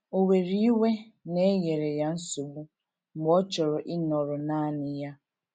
Ò were iwe na e nyere ya nsogbu mgbe ọ chọrọ ịnọrọ nanị ya?